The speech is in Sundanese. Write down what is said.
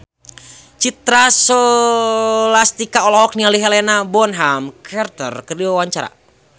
Citra Scholastika olohok ningali Helena Bonham Carter keur diwawancara